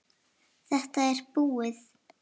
Þetta er búið!